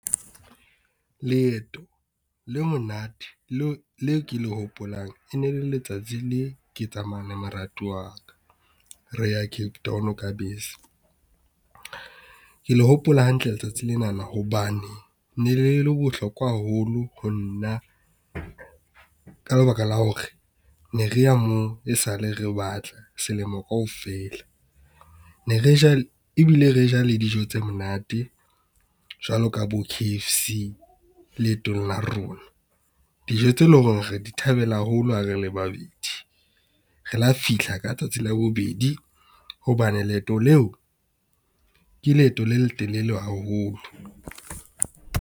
Leeto le monate leo ke le hopolang e ne le letsatsi le ke tsamayang le moratuwa wa ka reya Cape Town ka bese. Ke le hopola hantle letsatsi lena hobane ne le le bohlokwa haholo ho nna. Ka lebaka la hore ne re ya moo e sale re batla selemo kaofela, ne re ja le ebile re ja le dijo tse monate jwalo ka bo K_F_C leetong la rona. Dijo tse leng hore re di thabela haholo ha re le babedi, re la fihla ka tsatsi la bobedi hobane leeto leo, ke leeto le letelele haholo.